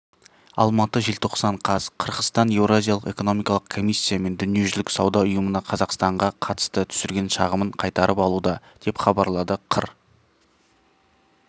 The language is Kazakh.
алматы желтоқсан қаз қырғызстан еуразиялық экономикалық комиссия мен дүниежүзілік сауда ұйымына қазақстанға қатысты түсірген шағымын қайтарып алуда деп хабарлады қыр